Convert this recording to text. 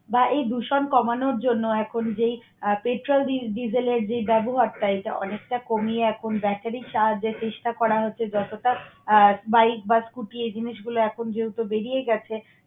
বায়ু দূষণ কমানোর জন্য এখন যেই আহ petrol, digel এর যে ব্যবহারটা এটা অনেকটা কমিয়ে এখন bettery charge এর চেষ্টা করা হচ্ছে। যতটা bike বা scooty এই জিনিসগুলা এখন যেহেতু বেরিয়ে গেছে